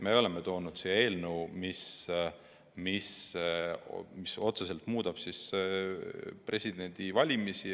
Me oleme toonud siia eelnõu, mis otseselt muudab presidendivalimisi.